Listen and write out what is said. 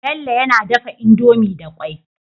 Bello yAna dafa indomie da kwai